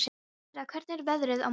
Sirra, hvernig er veðrið á morgun?